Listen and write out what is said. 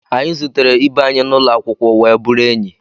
Anyị zutere ibe anyị n'ụlọ akwụkwọ wee bụrụ enyi